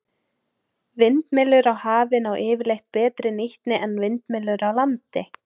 Vindmyllur á hafi ná yfirleitt betri nýtni en vindmyllur á landi.